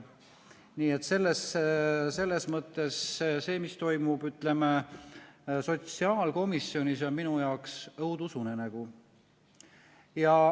Nii et selles mõttes see, mis toimub sotsiaalkomisjonis, on minu jaoks õudusunenägu.